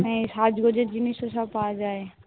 সাজগোজের জিনিসও সব পাওয়া যায়